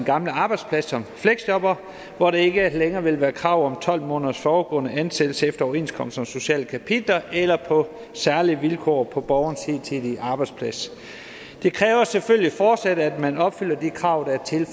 gamle arbejdsplads som fleksjobbere hvor der ikke længere vil være krav om tolv måneders forudgående ansættelse efter overenskomsternes sociale kapitler eller på særlige vilkår på borgerens hidtidige arbejdsplads det kræver selvfølgelig fortsat at man opfylder de krav der er til